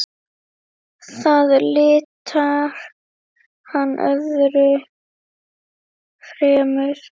Það litar hann öðru fremur.